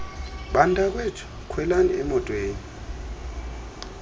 bantakwethu khwelani emotweni